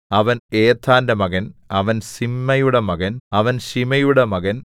അവൻ ഏഥാന്റെ മകൻ അവൻ സിമ്മയുടെ മകൻ അവൻ ശിമെയിയുടെ മകൻ